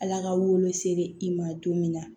Ala ka wolo se i ma don min na